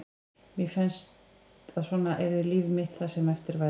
Mér fannst að svona yrði líf mitt það sem eftir væri.